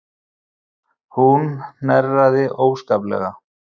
Hún hnerraði óskaplega.